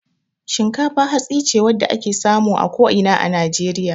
Shinkafa hatsi ce wadda ake samu a ko ina a Najeriya.